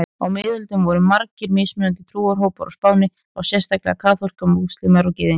Á miðöldum voru margir mismunandi trúarhópar á Spáni, þá sérstaklega kaþólikkar, múslímar og gyðingar.